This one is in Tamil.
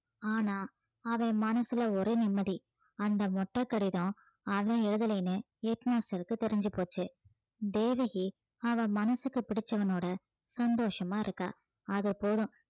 ஆனா அவன் மனசுல ஒரே நிம்மதி அந்த மொட்டை கடிதம் அவன் எழுதலைன்னு head master க்கு தெரிஞ்சு போச்சு தேவகி அவள் மனசுக்கு பிடிச்சவனோட சந்தோஷமா இருக்கா அது போதும்